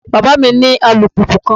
Baba mi ni alupupu kan